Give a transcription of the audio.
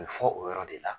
A bɛ fɔ o yɔrɔ de la